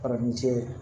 Fara ni cɛ ye